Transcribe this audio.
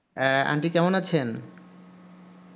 হ্যা aunty কেমন আছেন